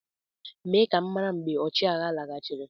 mee ka m mara mgbe ọchịagha laghachiri